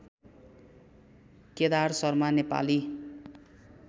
Kedar Sharma Nepali